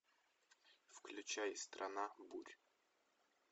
включай страна бурь